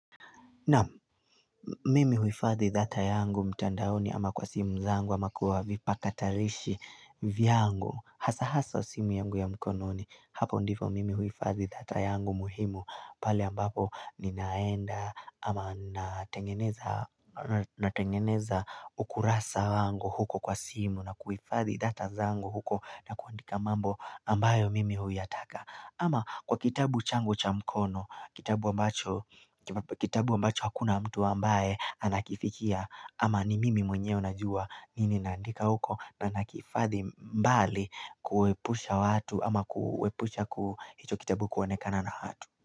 Naam, mimi uhifadhi data yangu mtandaoni ama kwa simu zangu ama kuwa vipakatarishi vyangu. Hasa hasa simu yangu ya mkononi hapo ndifo mimi uhifadhi data yangu muhimu. Pale ambapo ninaenda ama natengeneza ukurasa wangu huko kwa simu na kuifadhi data zangu huko na kuandika mambo ambayo mimi huyataka ama kwa kitabu changu cha mkono, kitabu ambacho kitabu ambacho hakuna mtu ambaye anakifikia ama ni mimi mwenyewe najua nini naandika uko na nakifadhi mbali kuepusha watu ama kuepusha ku hicho kitabu kuonekana na watu.